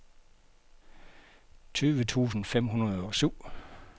tyve tusind fem hundrede og syv